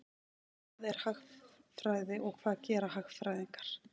Hvað er hagfræði og hvað gera hagfræðingar?